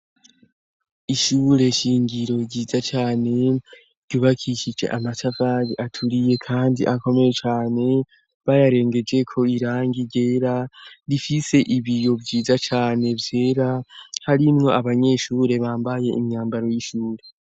Ishure shingiro ryiza cane ryubakishije amatavari aturiye kandi akomeye cane, bayarengejeko irangi ryera, rifise ibiyo vyiza cane vyera, harinwo abanyeshure bambaye imyambaro y'ishure.